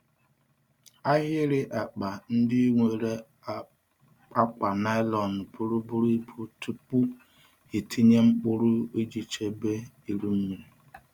Ahịrị akpa ndị nwere akwa nylon buru buru ibu tupu ịtinye mkpụrụ iji chebe iru mmiri.